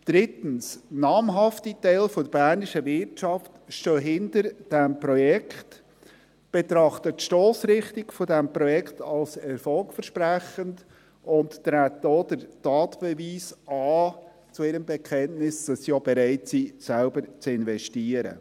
Drittens: Ein namhafter Teil der Berner Wirtschaft steht hinter diesem Projekt, betrachtet die Stossrichtung des Projekts als erfolgsversprechend und tritt den Tatbeweis zu ihrem Bekenntnis an, dass sie auch bereit sind, selbst zu investieren.